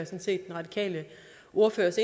set den radikale ordførers